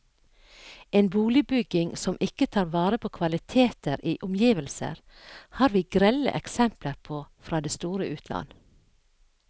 En boligbygging som ikke tar vare på kvaliteter i omgivelser, har vi grelle eksempler på fra det store utland.